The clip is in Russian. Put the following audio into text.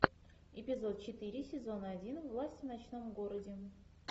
эпизод четыре сезона один власть в ночном городе